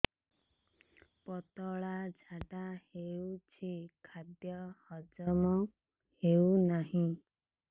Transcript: ପତଳା ଝାଡା ହେଉଛି ଖାଦ୍ୟ ହଜମ ହେଉନାହିଁ